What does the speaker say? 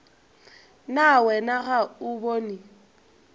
na wena ga o bone